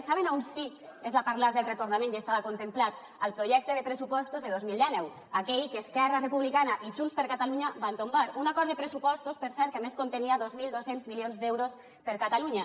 saben on sí que es va parlar del retorn i ja estava contemplat al projecte de pressupostos de dos mil dinou aquell que esquerra republicana i junts per catalunya van tombar un acord de pressupostos per cert que a més contenia dos mil dos cents milions d’euros per a catalunya